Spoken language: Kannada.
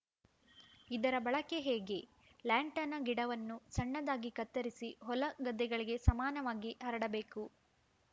ಇದರ ಬಳಕೆ ಹೇಗೆ ಲ್ಯಾಂಟನಾ ಗಿಡವನ್ನು ಸಣ್ಣದಾಗಿ ಕತ್ತರಿಸಿ ಹೊಲ ಗದ್ದೆಗಳಿಗೆ ಸಮಾನವಾಗಿ ಹರಡಬೇಕು